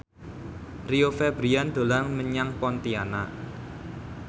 Rio Febrian dolan menyang Pontianak